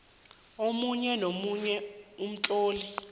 omunye nomunye umtlolo